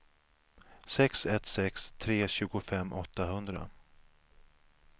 sex ett sex tre tjugofem åttahundra